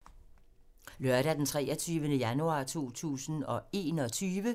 Lørdag d. 23. januar 2021